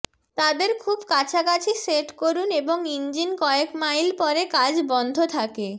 তাদের খুব কাছাকাছি সেট করুন এবং ইঞ্জিন কয়েক মাইল পরে কাজ বন্ধ থাকে